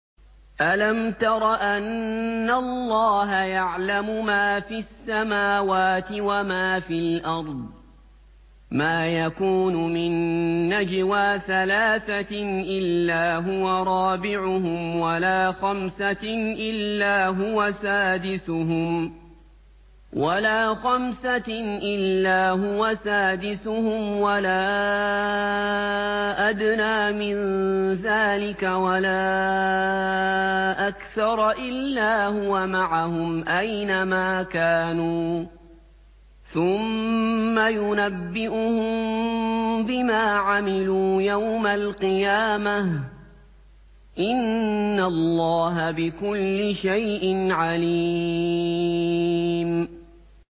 أَلَمْ تَرَ أَنَّ اللَّهَ يَعْلَمُ مَا فِي السَّمَاوَاتِ وَمَا فِي الْأَرْضِ ۖ مَا يَكُونُ مِن نَّجْوَىٰ ثَلَاثَةٍ إِلَّا هُوَ رَابِعُهُمْ وَلَا خَمْسَةٍ إِلَّا هُوَ سَادِسُهُمْ وَلَا أَدْنَىٰ مِن ذَٰلِكَ وَلَا أَكْثَرَ إِلَّا هُوَ مَعَهُمْ أَيْنَ مَا كَانُوا ۖ ثُمَّ يُنَبِّئُهُم بِمَا عَمِلُوا يَوْمَ الْقِيَامَةِ ۚ إِنَّ اللَّهَ بِكُلِّ شَيْءٍ عَلِيمٌ